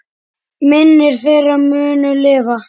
Minning þeirra mun lifa.